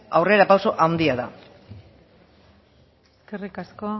aurrerapauso handia da eskerrik asko